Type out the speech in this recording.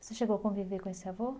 Você chegou a conviver com esse avô?